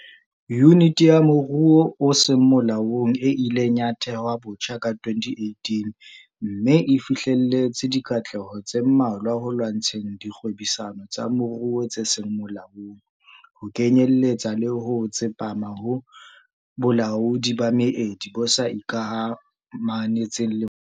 Yuniti ya Moruo o Seng Molaong e ileng ya thehwa botjha ka 2018 mme e fihleletse dikatleho tse mmalwa ho lwantsheng dikgwebisano tsa moruo tse seng molaong, ho kenyeletsa le ho tsepama ho bolaodi ba meedi bo sa ikamahantsheng le molao.